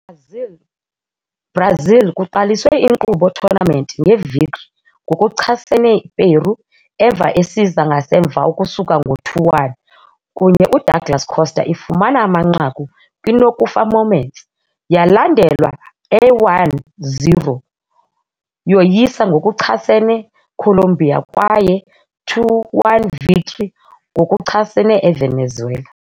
Brazil kuqaliswe inkqubo tournament nge-victory ngokuchasene Peru emva esiza ngasemva ukusuka ngo 2-1, kunye UDouglas Costa ifumana amanqaku kwi-nokufa moments, yalandelwa a 1-0 yoyisa ngokuchasene Colombia kwaye 2-1 victory ngokuchasene eVenezuela.